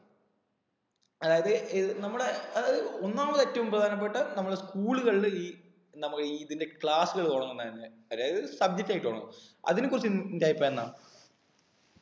അതായത് ഏർ നമ്മടെ ആഹ് ഒന്നാമത് ഏറ്റവും പ്രധാനപ്പെട്ട നമ്മുടെ school കളിൽ ഈ നമ്മുക്ക് ഈ ഇതിന്റെ class കൾ തുടങ്ങുന്നതാല്ല അതായത് subject ആയി തുടങ്ങുണ് അതിനെ കുറിച്ച് നിന്റെ അഭിപ്രായം എന്താ